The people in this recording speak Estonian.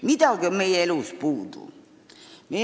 Midagi on meie elus puudu.